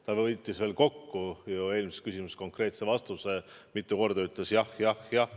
Ta võttis eelmises küsimuses konkreetse vastuse kokku, mitu korda ütles jah, jah, jah.